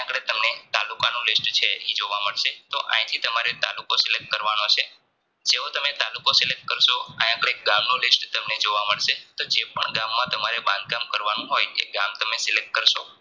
તાલુકાનું list છે તો આંયથી તમારે તાલુકો Select કરવાનો છે જેવો તમે તાલુકો Select કરસો આયા આપણને ગામનું list જોવા મળશે તો જેપણ ગામમાં તમારે બંધ કામ કરવાનું હોય એ ગામ તમે Select કરસો